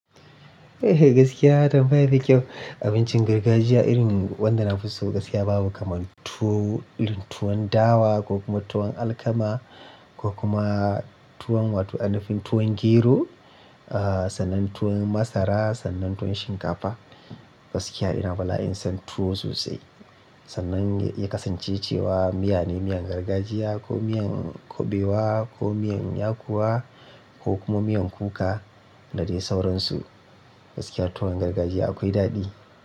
Eh. Gaskiya tambaya da kyau. Abincin gargajiya irin wanda na fi so gaskiya babu kamar tuwo, irin tuwon dawa ko kuma tuwon alkama ko kuma tuwon wato ainafi tuwon gero, ah sannan tuwon masara sannan tuwon shinkafa. Gaskiya ina bala'in son tuwo sosai. Sannan ya kasance cewa miya ne miyan gargajiya ko miyan kuɓewa ko miyan yakuwa ko kuma miyan kuka da dai sauransu. Gaskiya tuwon gargajiya akwai daɗi.